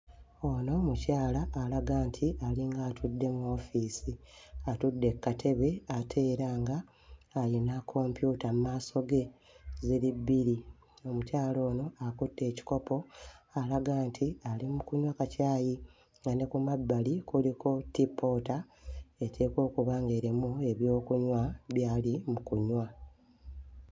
Ono mukyala alaga nti alinga atudde mu woofiisi, atudde ku katebe ate era ng'ayina kompyuta mu maaso ge ziri bbiri. Omukyala ono akutte ekikopo alaga nti ali mu kunywa kacaayi nga ne ku mabbali kuliko ttippoota eteekwa okuba ng'erimu ebyokunywa by'ali mu kunywa.